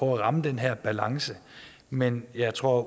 ramme den her balance men jeg tror